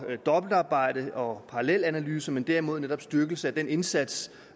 dobbeltarbejde og parallelanalyser men derimod netop styrkelse af den indsats